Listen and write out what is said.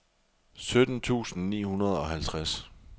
sytten tusind ni hundrede og halvtreds